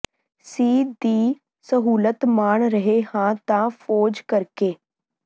ਸੀ ਦੀ ਸਹੂਲਤ ਮਾਣ ਰਹੇ ਹਾਂ ਤਾਂ ਫੌਜ ਕਰਕੇ